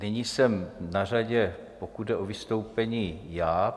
Nyní jsem na řadě, pokud jde o vystoupení, já.